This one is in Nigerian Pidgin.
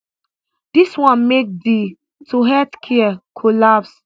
dis one make di to healthcare collapse